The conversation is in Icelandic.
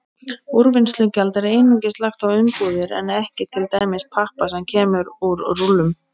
Úrvinnslugjald er einungis lagt á umbúðir en ekki til dæmis pappa sem kemur í rúllum.